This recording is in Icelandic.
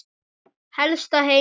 Helsta heimild